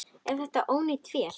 Er þetta ónýt vél?